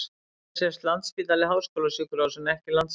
Hér sést Landspítali- háskólasjúkrahús en ekki Landsspítalinn.